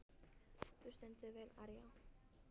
Þú stendur þig vel, Aría!